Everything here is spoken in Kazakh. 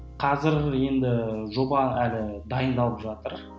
қазір енді жоба әлі дайындалып жатыр